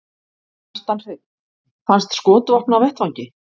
Kjartan Hreinn: Fannst skotvopn á vettvangi?